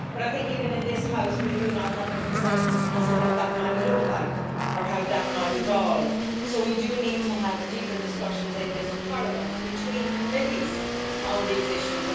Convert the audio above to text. I think even in this House we do not have a consensus as to what that might look like, or how that might evolve, so we do need to have deeper discussions in this Parliament between committees on these issues.